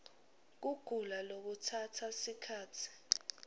kugula lokutsatsa sikhatsi